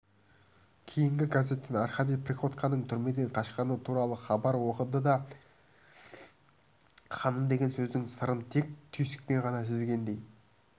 кейін газеттен аркадий приходьконың түрмеден қашқаны туралы хабар оқыды да ханым деген сөздің сырын тек түйсікпен ғана сезгендей